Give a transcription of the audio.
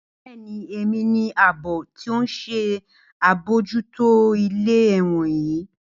Bẹẹni, Emi ni aabo ti o nṣe abojuto ile ẹwọn yii.